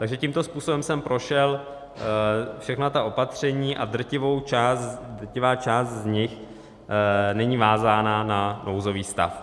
Takže tímto způsobem jsem prošel všechna ta opatření a drtivá část z nich není vázána na nouzový stav.